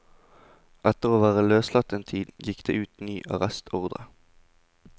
Etter å være løslatt en tid, gikk det ut ny arrestordre.